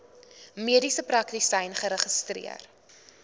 mediese praktisyn geregistreer